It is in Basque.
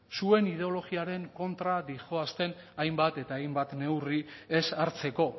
zuen ideologiaren kontra doazen hainbat eta hainbat neurri ez hartzeko